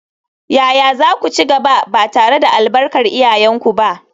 Yaya za ku ci gaba, ba tare da albarkar iyayenku ba?